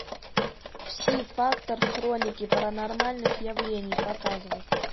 пси фактор хроники паранормальных явлений показывай